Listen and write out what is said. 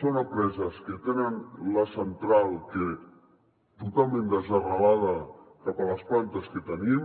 són empreses que tenen la central totalment desarrelada de les plantes que tenim